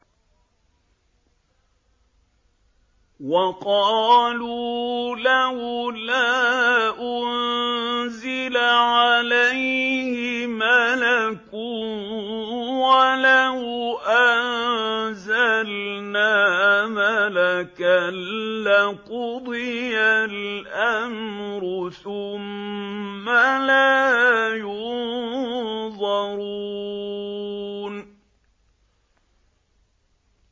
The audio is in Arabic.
وَقَالُوا لَوْلَا أُنزِلَ عَلَيْهِ مَلَكٌ ۖ وَلَوْ أَنزَلْنَا مَلَكًا لَّقُضِيَ الْأَمْرُ ثُمَّ لَا يُنظَرُونَ